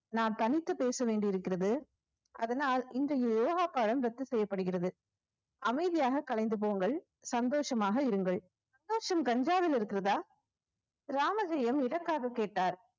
நாம் தனித்து பேச வேண்டியிருக்கிறது அதனால் இன்றைய யோகா பாடம் ரத்து செய்யப்படுகிறது. அமைதியாக கலைந்து போங்கள் சந்தோஷமாக இருங்கள் சந்தோஷம் கஞ்சாவில் இருக்கிறதா ராமஜெயம் எதற்காக கேட்டார்.